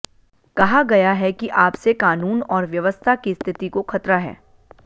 कहा गया है कि आपसे कानून और व्यवस्था की स्थिति को खतरा है